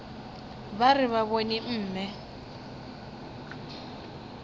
ba re ba bone mme